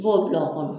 B'o bila o kɔnɔ